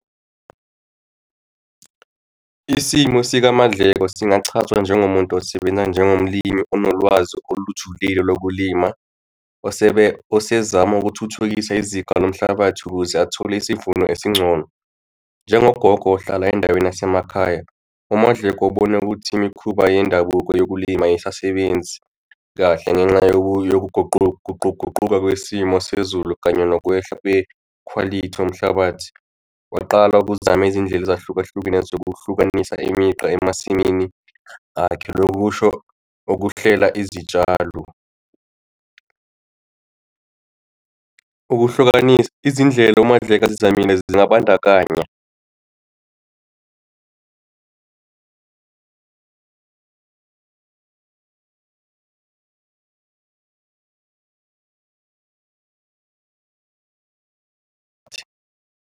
Isimo sikaMaNdleko singachazwa njengomuntu osebenza njengomlimi onolwazi olujulile lokulima, osezama ukuthuthukisa izinga lomhlabathi ukuze athole isivuno esingcono njengogogo ohlala endaweni yasemakhaya. UMaNdleko ubona ukuthi imikhuba yendabuko yokulima ayisasebenzi kahle, ngenxa yokuguquguquka kwesimo sezulu kanye nokwehla kwekhwalithi yomhlabathi kwaqala ukuzama izindlela ezahlukahlukene zokuhlukanisa imigqa emasimini akhe, loko kusho ukuhlela izitshalo. Ukuhlukanisa, izindlela uMaNdleko azizamile zingabandakanya .